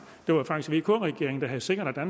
det var faktisk vk regeringen der havde sikret at